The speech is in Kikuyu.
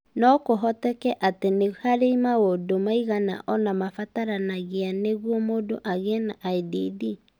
No kũhoteke atĩ nĩ harĩ maũndũ maigana ũna mabataranagia nĩguo mũndũ agĩe na IDD.